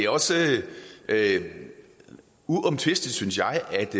også uomtvisteligt synes jeg at